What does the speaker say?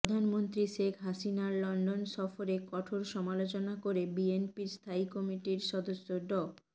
প্রধানমন্ত্রী শেখ হাসিনার লন্ডন সফরের কঠোর সমালোচনা করে বিএনপির স্থায়ী কমিটির সদস্য ড